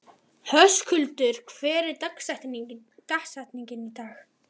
Höskuldur, hver er dagsetningin í dag?